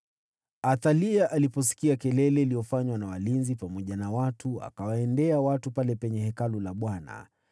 Athalia aliposikia kelele iliyofanywa na walinzi pamoja na watu, akawaendea watu pale penye Hekalu la Bwana .